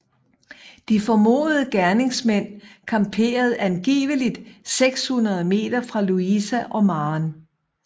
De formodede gerningsmænd camperede angiveligt 600 meter fra Louisa og Maren